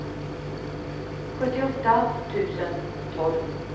sjuttioåtta tusen tolv